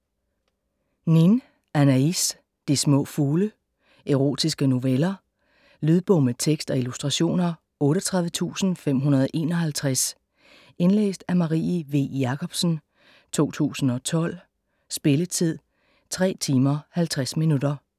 Nin, Anaıs: De små fugle Erotiske noveller. Lydbog med tekst og illustrationer 38551 Indlæst af Marie V. Jakobsen, 2012. Spilletid: 3 timer, 50 minutter.